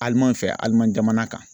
Aliman fɛ, Aliman jamana kan.